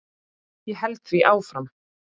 Ég held því áfram.